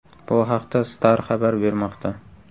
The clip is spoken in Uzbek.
Bu haqda Star xabar bermoqda .